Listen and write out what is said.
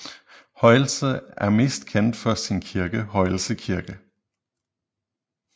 Højelse er mest kendt for sin kirke Højelse Kirke